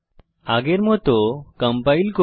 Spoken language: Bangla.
আগের মত কম্পাইল করি